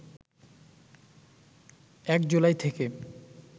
১ জুলাই থেকে